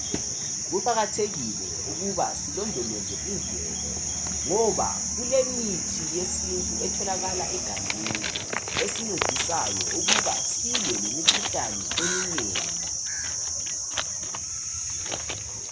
Kuqakathekile ukuba silondoloze imvelo ngoba kulemithi yesintu etholakala egangeni esincedisayo ukuba silwe lemikhuhlane eminengi .